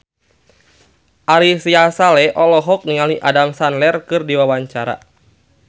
Ari Sihasale olohok ningali Adam Sandler keur diwawancara